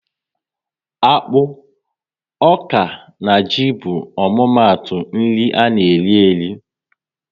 Akpụ, ọka na ji bụ omumatu nri ana eri eri